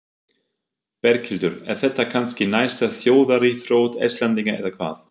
Berghildur, er þetta kannski næsta þjóðaríþrótt Íslendinga eða hvað?